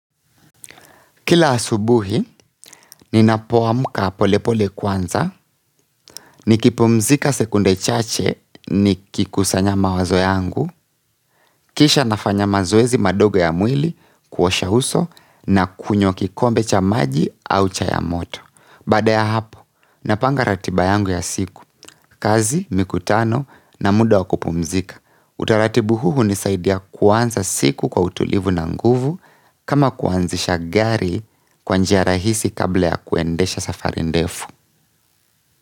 Kila asubuhi, ninapoamka polepole kwanza, nikipumzika sekunde chache, nikikusanya mawazo yangu, kisha nafanya mazoezi madogo ya mwili, kuosha uso, na kunywa kikombe cha maji au chai ya moto. Baada ya hapo, napanga ratiba yangu ya siku. Kazi, mikutano na muda wa kupumzika. Utaratibu huu hunisaidia kwanza siku kwa utulivu na nguvu kama kuanzisha gari kwa njia rahisi kabla ya kuendesha safari ndefu.